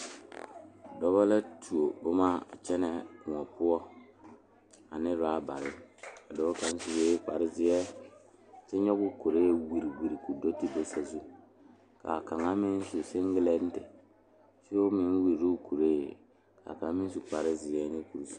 Dɔɔba ba ba zeŋ leɛ la ba puori ko zie ba naŋ daare bayi zeŋ ta la teŋa bata vɔgle la sapele naŋ waa peɛle bonyene vɔgle sapele naŋ e sɔglɔ ba taa la ba tontuma boma kaa waa buluu.